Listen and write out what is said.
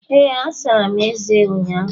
Ee, asara m eze m ụnyaahụ